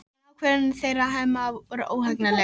En ákvörðun þeirra Hemma var óhagganleg.